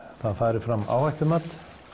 það fari fram áhættumat